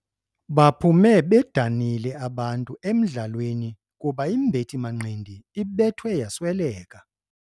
Baphume bedanile abantu emdlalweni kuba imbethi-manqindi ibethwe yasweleka.